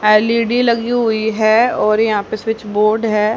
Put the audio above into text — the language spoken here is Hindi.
एल_ई_डी लगी हुई है और यहां पे स्विच बोर्ड है।